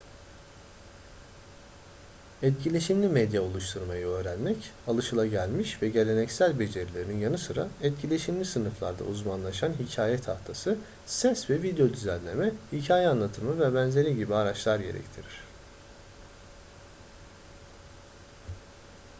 etkileşimli medya oluşturmayı öğrenmek alışılagelmiş ve geleneksel becerilerin yanı sıra etkileşimli sınıflarda uzmanlaşan hikaye tahtası ses ve video düzenleme hikaye anlatımı vb gibi araçlar gerektirir